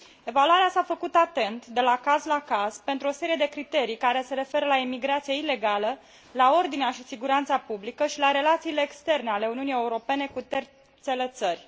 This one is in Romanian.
Evaluarea s a făcut atent, de la caz la caz, pentru o serie de criterii care se referă la emigrația ilegală, la ordinea și siguranța publică și la relațiile externe ale Uniunii Europene cu terțele țări.